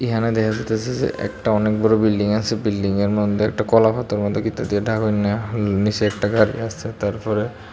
এহানে দেখা যাইতাসে যে একটা অনেক বড় বিল্ডিং আসে বিল্ডিংয়ের মধ্যে একটা কলাপাতা মতো কিছু দিয়া ঢাকইন্যা নিচে একটা গাড়ি আসে তারপরে--